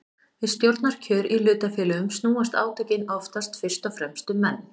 Við stjórnarkjör í hlutafélögum snúast átökin oftast fyrst og fremst um menn.